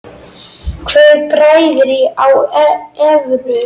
Hver græðir á evru?